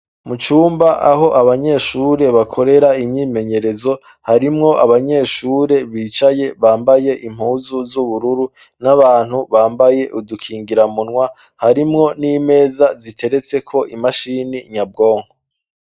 Mu cumba aho abanyeshure bakorera imyimenyerezo, harimwo abanyeshure bicaye bambaye impuzu z'ubururu, n'abantu bambaye udukingira umunwa. Harimwo n'imeza ziteretseko imashini nyabwonko.